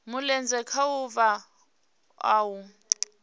mulenzhe khaho vha o a